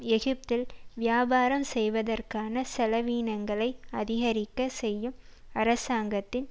எகிப்தில் வியாபாரம் செய்வதற்கான செலவீனங்களை அதிகரிக்க செய்யும் அரசாங்கத்தின்